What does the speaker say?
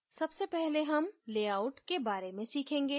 सबसे पहले हम layout के बारे में सीखेंगे